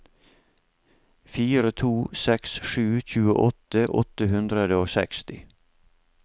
fire to seks sju tjueåtte åtte hundre og seksti